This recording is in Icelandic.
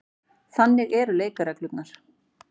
Þannig eru leikreglurnar.